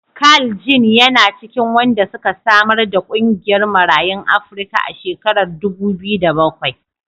Carl Ginn yana cikin wanda suka samar da ƙungiyar Marayun Afrika a shekarar dubu biyu da bakwai.